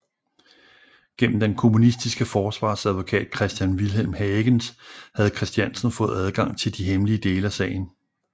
Gennem den kommunistiske forsvarsadvokat Christian Vilhelm Hagens havde Christiansen fået adgang til de hemmelige dele af sagen